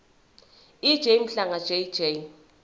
ej mhlanga jj